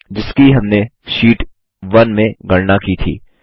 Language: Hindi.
जिसकी हमने शीट 1 में गणना की थी